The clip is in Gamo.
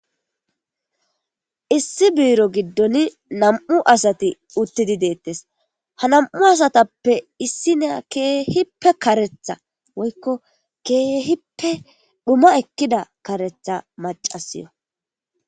issi biiro giddon nam7u asati uttidi deettes ha nam7u asatappe issi na keehippe karetha woykko keehippe dhuma ekkida karetha macasiyo